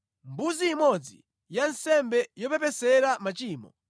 mbuzi imodzi ya nsembe yopepesera machimo;